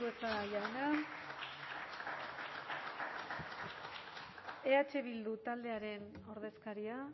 andueza jauna eh bildu taldearen ordezkaria